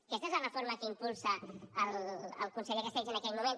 aquesta és la reforma que impulsa el conseller castells en aquell moment